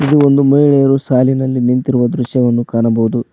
ಇದು ಒಂದು ಮಹಿಳೆಯರು ಸಾಲಿನಲ್ಲಿ ನಿಂತಿರುವ ದೃಶ್ಯವನ್ನು ಕಾಣಬಹುದು.